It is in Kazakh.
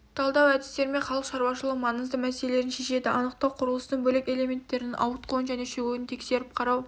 талдау әдістерімен халық шаруашылығының маңызды мәселелерін шешеді анықтау құрылыстың бөлек элементтерінің ауытқуын және шөгуін тексеріп қарау